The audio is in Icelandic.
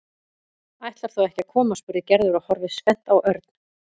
Ætlar þú ekki að koma? spurði Gerður og horfði spennt á Örn.